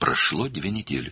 2 həftə keçdi.